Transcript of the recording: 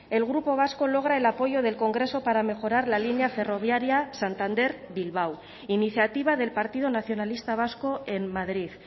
el grupo vasco logra el apoyo del congreso para mejorar la línea ferroviaria santander bilbao iniciativa del partido nacionalista vasco en madrid